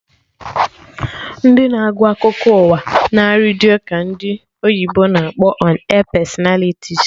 Ndị na-agụ akụkọ ụwa naredio ka ndị oyibo na-akpọ 'ọn air personalities'